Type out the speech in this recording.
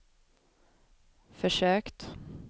försökt